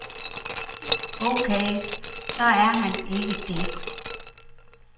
Okay, så er han ikke det.